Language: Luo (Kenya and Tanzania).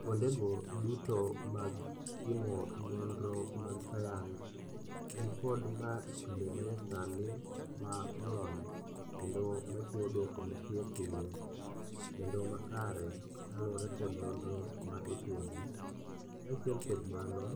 Kuondego duto mag timo nonro mag science nikod mashinde manyasani ma olony kendo machiwo duoko mapiyopiyo kendo makare kaluwore kod nonro ma itimo. Kaachiel kod mano,